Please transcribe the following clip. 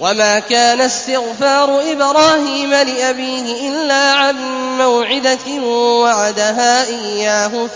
وَمَا كَانَ اسْتِغْفَارُ إِبْرَاهِيمَ لِأَبِيهِ إِلَّا عَن مَّوْعِدَةٍ وَعَدَهَا إِيَّاهُ